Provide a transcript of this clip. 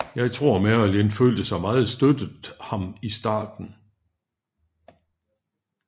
Jeg tror marilyn følte sig meget støttet ham i starten